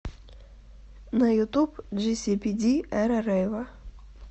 на ютуб джисипиди эра рэйва